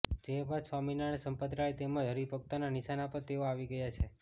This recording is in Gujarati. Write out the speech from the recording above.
જે બાદ સ્વામિનારાયણ સંપ્રદાય તેમજ હરિભક્તોનાં નિશાના પર તેઓ આવી ગયા છે